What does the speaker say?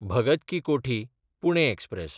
भगत की कोठी–पुणे एक्सप्रॅस